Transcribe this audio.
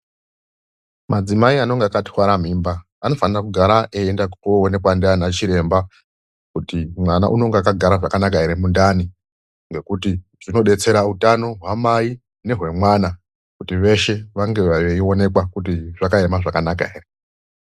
Madzimai anonga akatwara mimba anofanira kugara eienda koonekwa ndiana chiremba kuti mwana unonga akagara zvakanaka ere mundani, ngekuti zvinodetsera utano hwamai nehwemwana kuti veshe vange veionekwa kuti zvakaema zvakanaka ere .